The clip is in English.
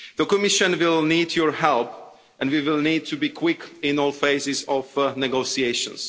The Commission will need your help, and we will need to be quick in all phases of negotiations.